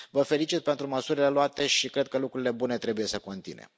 Vă felicit pentru măsurile luate și cred că lucrurile bune trebuie să continue.